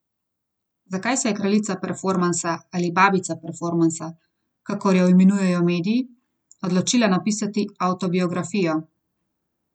Koliko boste nadaljevali ustvarjanje v slovenščini z naslednjim albumom, za katerega, kot pravite sami, že imate nekaj materiala?